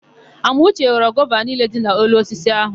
Amauche ghọrọ gova niile dị n'elu osisi áhụ̀.